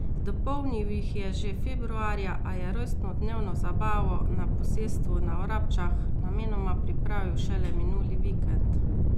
Dopolnil jih je že februarja, a je rojstnodnevno zabavo na posestvu na Vrabčah namenoma pripravil šele minuli vikend.